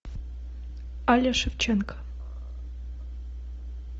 аля шевченко